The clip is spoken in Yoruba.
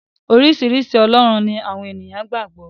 Oríṣiríṣi ọlọ́run ni àwọn èèyàn gbà gbọ́.